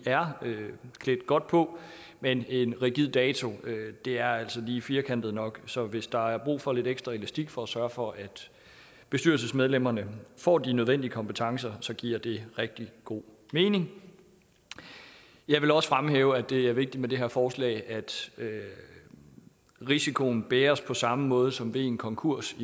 er klædt godt på men en rigid dato er altså lige firkantet nok så hvis der er brug for lidt ekstra elastik for at sørge for at bestyrelsesmedlemmerne får de nødvendige kompetencer så giver det rigtig god mening jeg vil også fremhæve at det er vigtigt med det her forslag at risikoen bæres på samme måde som ved en konkurs